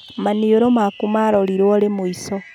Maniũrũ maku marorirwo rĩ mũico